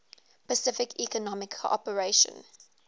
pacific economic cooperation